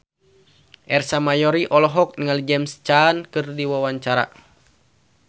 Ersa Mayori olohok ningali James Caan keur diwawancara